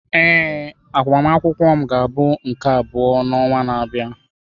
Ee, agbamakwụkwọ m ga-abụ nke abụọ n'ọnwa na-abịa.